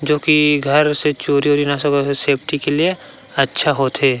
जो कि घर से चोरी ओरी न हो सके करके सेफ्टी के लिए अच्छा होथे।